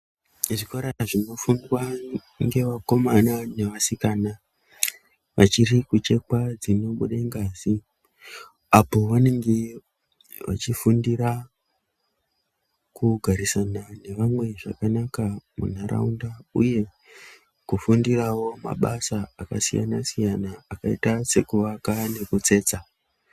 Zvikora zvinofundwa ngevakomana nevasikana vachiri kuchekwa dzinobuda ngazi apo vanenge vachifundira kugarisana nevamwe zvakanaka muntaraunda uye kufundirawo mabasa akasiyana siyana akaita sekuaka nekutsetsa.